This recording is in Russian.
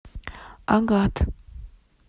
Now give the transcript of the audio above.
агат